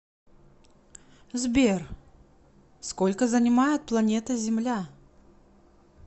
сбер сколько занимает планета земля